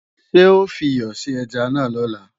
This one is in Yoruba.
Ṣé ó fiyọ̀ sí ẹja náà lọ́la?